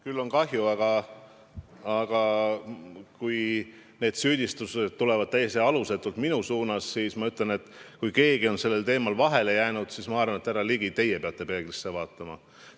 Mul on kahju, aga kui need süüdistused tulevad täiesti alusetult minu suunas, siis ma ütlen, et kui keegi on sellel teemal vahele jäänud, siis ma arvan, et härra Ligi, teie peate peeglisse vaatama.